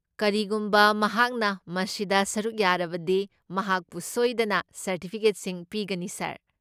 ꯀꯔꯤꯒꯨꯝꯕ ꯃꯍꯥꯛꯅ ꯃꯁꯤꯗ ꯁꯔꯨꯛ ꯌꯥꯔꯕꯗꯤ, ꯃꯍꯥꯛꯄꯨ ꯁꯣꯏꯗꯅ ꯁꯔꯇꯤꯐꯤꯀꯦꯠꯁꯤꯡ ꯄꯤꯒꯅꯤ ꯁꯥꯔ꯫